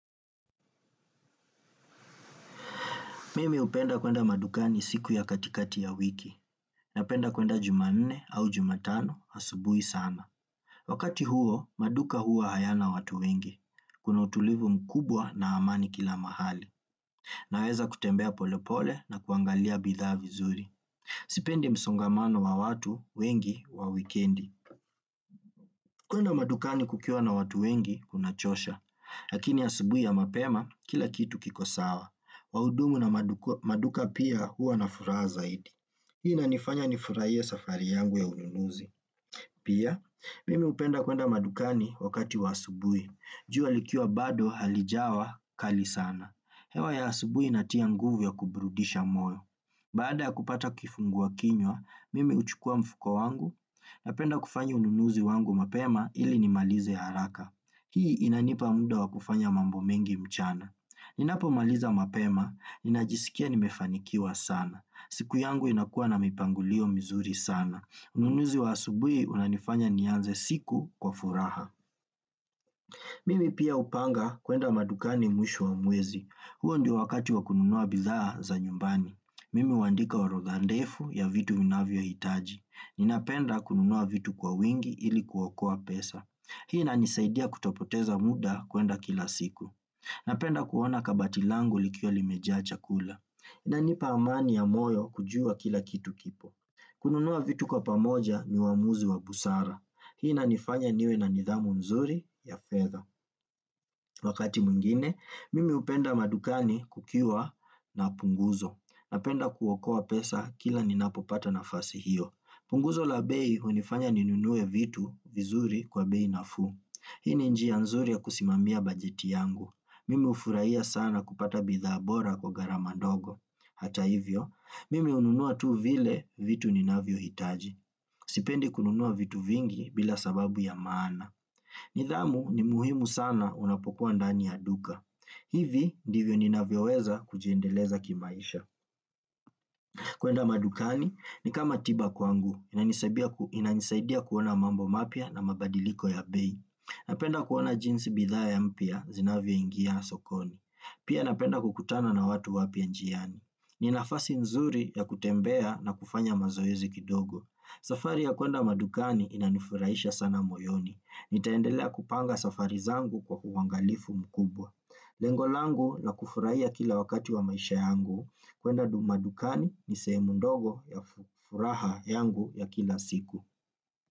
Mimi hupenda kwenda madukani siku ya katikati ya wiki. Napenda kwenda Jumanne au Jumatano asubuhi sana. Wakati huo, maduka huwa hayana watu wengi. Kuna utulivu mkubwa na amani kila mahali. Naweza kutembea pole pole na kuangalia bidhaa vizuri. Sipendi msongamano wa watu wengi wa wikendi. Kwenda madukani kukiwa na watu wengi kunachosha. Lakini asubuhi ya mapema, kila kitu kiko sawa. Wahudumu na maduka pia huwa na furaha zaidi. Hii inanifanya nifurahie safari yangu ya ununuzi. Pia, mimi hupenda kwenda madukani wakati wa asubuhi. Jua likiwa bado halijawa kali sana. Hewa ya asubuhi inatia nguvu ya kuburudisha moyo. Baada ya kupata kifungua kinywa, mimi huchukua mfuko wangu napenda kufanya ununuzi wangu mapema ili nimalize haraka. Hii inanipa muda wa kufanya mambo mengi mchana. Ninapomaliza mapema ninajisikia nimefanikiwa sana siku yangu inakuwa na mipangilio mzuri sana. Ununuzi wa asubuhi unanifanya nianze siku kwa furaha. Mimi pia hupanga kwenda madukani mwisho wa mwezi, huo ndio wakati wa kununua bidhaa za nyumbani mimi huandika orodha ndefu ya vitu ninavyohitaji. Ninapenda kununua vitu kwa wingi ili kuokoa pesa hii inanisaidia kutopoteza muda kwenda kila siku napenda kuona kabati langu likiwa limejaa chakula. Inanipa amani ya moyo kujua kila kitu kipo kununua vitu kwa pamoja ni uamuzi wa busara. Hii inanifanya niwe na nidhamu nzuri ya fedha wakati mwingine, mimi hupenda madukani kukiwa na punguzo. Napenda kuokoa pesa kila ninapopata nafasi hiyo. Punguzo la bei hunifanya ninunue vitu vizuri kwa bei nafuu. Hii ni njia nzuri ya kusimamia bajeti yangu. Mimi ufurahia sana kupata bidhaa bora kwa gharama ndogo. Hata hivyo, mimi hununua tu vile vitu ninavyohitaji. Sipendi kununua vitu vingi bila sababu ya maana. Nidhamu ni muhimu sana unapokuwa ndani ya duka. Hivi ndivyo ninavyoweza kujiendeleza kimaisha. Kwenda madukani ni kama tiba kwangu inanisaidia kuona mambo mapya na mabadiliko ya bei. Napenda kuona jinsi bidhaa mpya zinavyoingia na sokoni. Pia napenda kukutana na watu wapya njiani. Ninafasi nzuri ya kutembea na kufanya mazoezi kidogo. Safari ya kwenda madukani inanifurahisha sana moyoni. Nitaendelea kupanga safari zangu kwa uangalifu mkubwa. Lengo langu za kufurahia kila wakati za maisha yangu kwenda madukani ni sehemu ndogo ya furaha yangu ya kila siku.